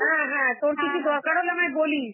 হ্যাঁ হ্যাঁ, তোর কিছু দরকার হলে আমায় বলিস.